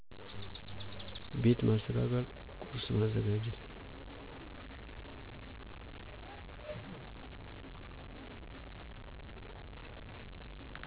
ቤት ማሰተካከል ቆርስ ማዘጋጀት